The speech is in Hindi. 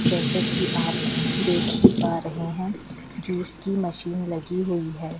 जैसे कि आप देख ही पा रहे हैं जूस की मशीन लगी हुई है।